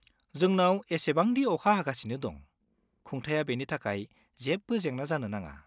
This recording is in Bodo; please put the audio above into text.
जोंनाव एसेबांदि अखा हागासिनो दं, खुंथाइआ बेनि थाखाय जेबो जेंना जानो नाङा।